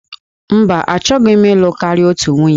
Mba, achọghị m ịlụ karịa otu nwunye.